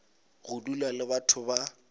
go dula le batho ba